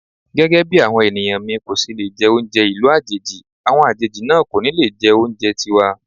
Gẹ́gẹ́bí àwọn ènìyàn mi kòṣe lè jẹ oúnjẹ ìlú àjèjì, àwọn àjèjì náà kò ní le jẹ oúnjẹ tiwa.